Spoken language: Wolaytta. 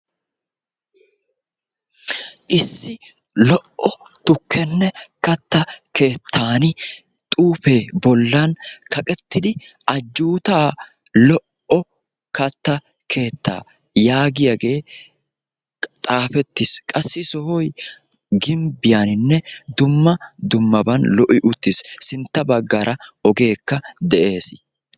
Issi lo"o tukkenne katta keettan xuufee bollan kaqettidi "ajjuutaa lo"o katta keettaa" yaagiyagee xaafettis. Qassi sohoy gimbbiyaninne dumma dummaban lo'i uttis. Sintta baggaara ogeekka de'es.